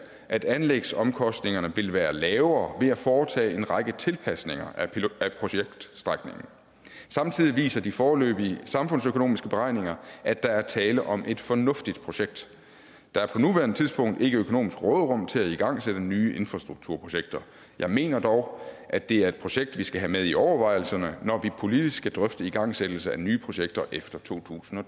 at anlægsomkostningerne vil være lavere ved at foretage en række tilpasninger af projektstrækningen samtidig viser de foreløbige samfundsøkonomiske beregninger at der er tale om et fornuftigt projekt der er på nuværende tidspunkt ikke økonomisk råderum til at igangsætte nye infrastrukturprojekter jeg mener dog at det er et projekt vi skal have med i overvejelserne når vi politisk skal drøfte igangsættelse af nye projekter efter totusinde